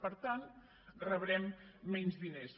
per tant rebrem menys diners